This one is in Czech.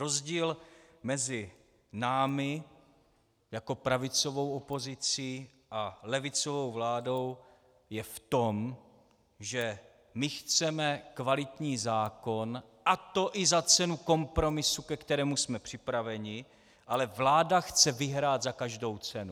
Rozdíl mezi námi jako pravicovou opozicí a levicovou vládou je v tom, že my chceme kvalitní zákon, a to i za cenu kompromisu, ke kterému jsme připraveni, ale vláda chce vyhrát za každou cenu.